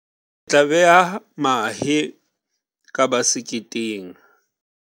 Re tla beha mahe ka baseketeng.